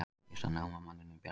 Fyrsta námamanninum bjargað